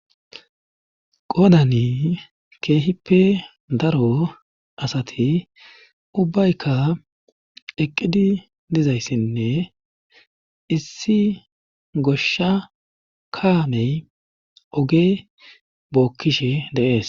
Qodani keehippe daro asati ubbaykka eqqidi dizayssinne issi goshsha kaamey oge bookkishe dees.